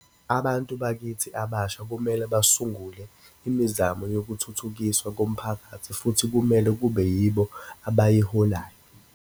Abantu bakithi abasha kumele basungule imizamo yokuthuthukiswa komphakathi futhi kumele kube yibona abayiholayo.